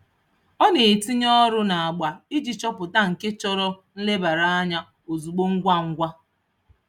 Ọ na-etinye ọrụ n'agba iji chọpụta nke chọrọ nlebara anya ozugbo ngwa ngwa.